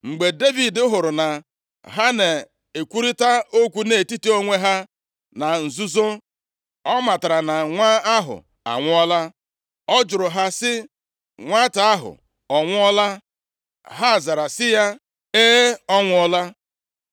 Mgbe Devid hụrụ na ha na-ekwurịta okwu nʼetiti onwe ha na nzuzo; ọ matara na nwa ahụ anwụọla. Ọ jụrụ ha sị, “Nwata ahụ ọ nwụọla?” Ha zara sị ya, “E, ọ nwụọla!”